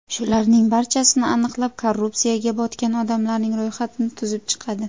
Shularning barchasini aniqlab, korrupsiyaga botgan odamlarning ro‘yxatini tuzib chiqadi.